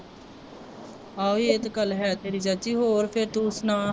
ਆਹੋ ਇਹ ਤਾਂ ਗੱਲ ਹੈ ਤੇਰੀ ਚਾਚੀ ਹੋਰ ਫੇਰ ਤੂੰ ਸੁਣਾ